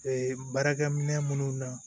Ee baarakɛminɛn minnu na